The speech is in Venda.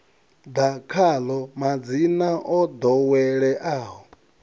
ḓa khaḽo madzina o ḓoweleaho